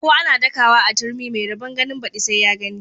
Ko ana dakawa a turmi mai rabon ganin badi sai ya gani.